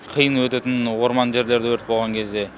қиын өтетін орман жерлерде өрт болған кезде